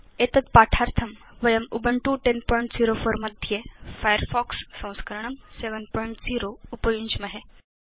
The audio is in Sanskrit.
एतत् पाठार्थं वयं उबुन्तु 1004 मध्ये फायरफॉक्स संस्करणं 70 उपयुञ्ज्महे